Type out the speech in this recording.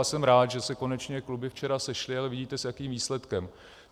A jsem rád, že se konečně kluby včera sešly - a vidíte, s jakým výsledkem.